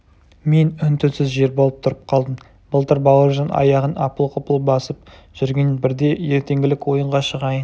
мен үн-түнсіз жер болып тұрып қалдым былтыр бауыржан аяғын апыл-ғұпыл басып жүрген бірде ертеңгілік ойынға шығайын